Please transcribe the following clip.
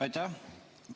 Aitäh!